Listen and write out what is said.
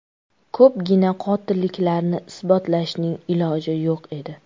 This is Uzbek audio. Ko‘pgina qotilliklarni isbotlashning iloji yo‘q edi.